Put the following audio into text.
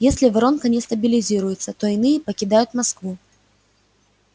если воронка не стабилизируется то иные покидают москву